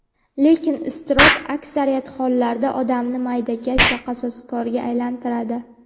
Lekin iztirob aksariyat hollarda odamni maydakash va qasoskorga aylantiradi.